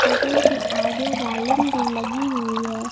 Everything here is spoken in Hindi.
होटल के आगे रैलिंग भी लगी हुई है।